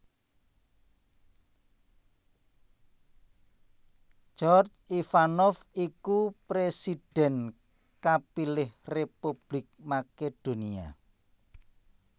Gjorge Ivanov iku présidhèn kapilih Republik Makedonia